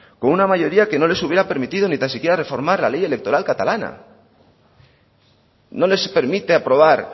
con una mayoría que no les hubiera permitido ni tan siquiera reformar la ley electoral catalana no les permite aprobar